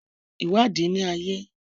Ìwádìí ni ayé.